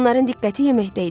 Onların diqqəti yeməkdə idi.